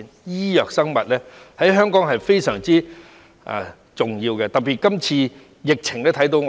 醫藥和生物發展在香港非常重要，在今次的疫情尤為顯著。